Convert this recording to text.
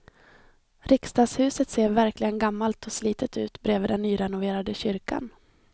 Riksdagshuset ser verkligen gammalt och slitet ut bredvid den nyrenoverade kyrkan.